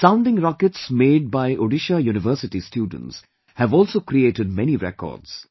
The Sounding Rockets made by Odisha university students have also created many records